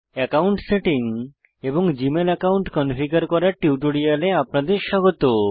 account setting এবং Gmail account configure করার টিউটোরিয়ালে আপনাদের স্বাগত